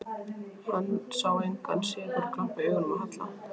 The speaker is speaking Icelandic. Hann sá engan sigurglampa í augunum á Halla.